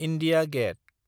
India gate